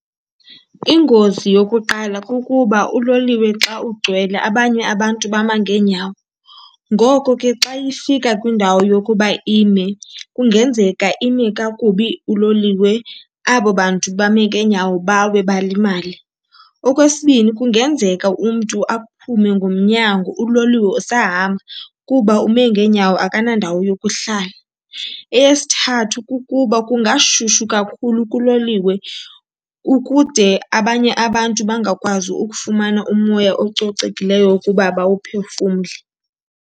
Ingozi yokuqala kukuba uloliwe xa ugcwele abanye abantu bama ngeenyawo. Ngoko ke xa ifika kwindawo yokuba ime kungenzeka ime kakubi uloliwe, abo bantu bame ngeenyawo bawe balimale. Okwesibini, kungenzeka umntu aphume ngomnyango uloliwe usahamba kuba ume ngeenyawo akanandawo yokuhlala. Eyesithathu, kukuba kungashushu kakhulu kuloliwe kukude abanye abantu bangakwazi ukufumana umoya ococekileyo ukuba bawuphefumlele.